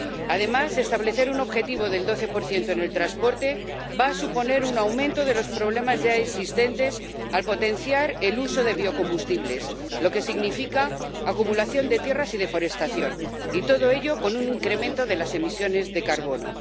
Además, establecer un objetivo del 12 en el transporte va a suponer un aumento de los problemas ya existentes, al potenciar el uso de biocombustibles, lo que significa acumulación de tierras y deforestación. Y todo ello con un incremento de las emisiones de carbono.